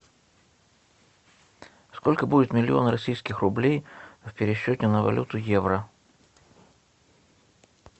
сколько будет миллион российских рублей в пересчете на валюту евро